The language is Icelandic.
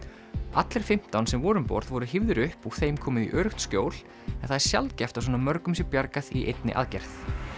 allir fimmtán sem voru um borð voru hífðir upp og þeim komið í öruggt skjól en það er sjaldgæft að svona mörgum sé bjargað í einni aðgerð